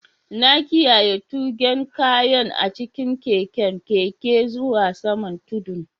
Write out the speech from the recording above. Na kiyyaye tugen kayan a'cikin keken Keke zuwa saman tudun.